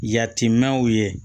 Yatimɛnw ye